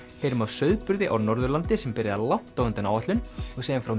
heyrum af sauðburði á Norðurlandi sem byrjaði langt á undan áætlun og segjum frá